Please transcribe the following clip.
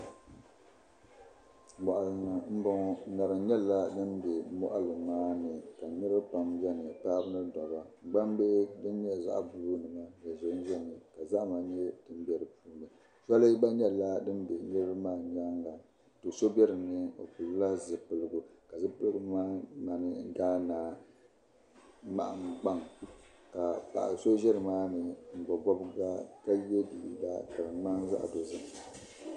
Moɣali ni n bɔŋɔ ka niraba pam bɛ nimaani paɣaba ni dabba gbambihi din nyɛ zaɣ buluu nima din ʒɛnʒɛmi ka zahama nyɛ din bɛ di puuni zoli gba nyɛla din bɛ niraba maa nyaanga do so bɛ dinni o pilila zipiligu ka zipiligu maa ŋmani gaana ŋmani gbaŋ paɣa so ʒɛ nimaani n bob bob ga ka yɛ liiga ka di ŋmani zaɣ dozim